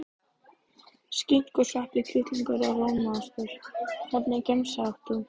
Skinku sveppi kjúkling og rjómaost Hvernig gemsa áttu?